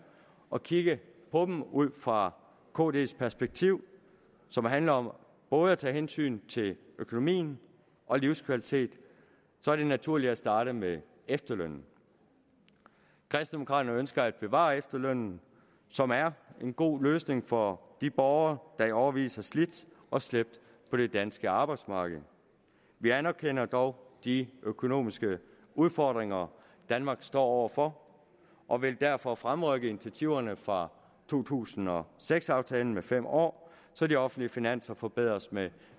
og kigge på dem ud fra kd’s perspektiv som handler om både at tage hensyn til økonomien og livskvalitet er det naturligt at starte med efterlønnen kristendemokraterne ønsker at bevare efterlønnen som er en god løsning for de borgere der i årevis har slidt og slæbt på det danske arbejdsmarked vi anerkender dog de økonomiske udfordringer danmark står over for og vil derfor fremrykke initiativerne fra to tusind og seks aftalen med fem år så de offentlige finanser forbedres med